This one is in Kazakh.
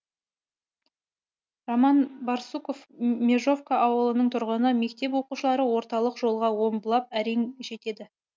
роман барсуков межовка ауылының тұрғыны мектеп оқушылары орталық жолға омбылап әрең жетеді